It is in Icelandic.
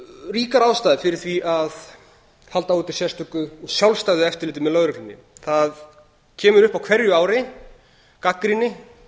ríkar ástæður fyrir því að halda úti sérstöku sjálfstæðu eftirliti með lögreglunni það kemur upp á hverju ári gagnrýni